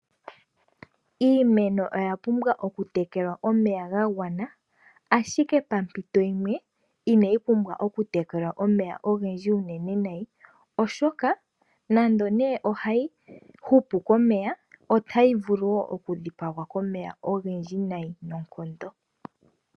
Iimeno oyapumbwa okutekelwa omeya gagwana ashike pampito yimwe inayi pumbwa okutekelwa omeya ogendji unene nayi oshoka, nando nee ohayi hupu komeya otayi vulu wo okudhipangwa komeya ogendji nayi noonkondo.